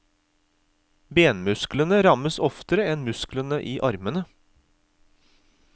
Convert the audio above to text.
Benmusklene rammes oftere enn musklene i armene.